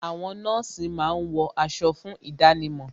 Àwọn nọ́ọ̀sì máa ń wọ aṣọ fún ìdánimọ̀